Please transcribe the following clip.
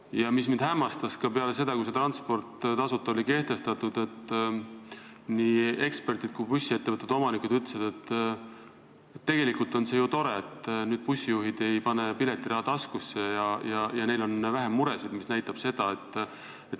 Ja mis mind hämmastas peale seda, kui see tasuta ühistransport oli kehtestatud, oli see, et nii eksperdid kui ka bussiettevõtete omanikud ütlesid, et tegelikult on see ju tore, sest nüüd bussijuhid ei pane piletiraha taskusse ja neil on vähem muresid.